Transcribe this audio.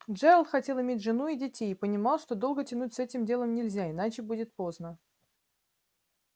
джералд хотел иметь жену и детей и понимал что долго тянуть с этим делом нельзя иначе будет поздно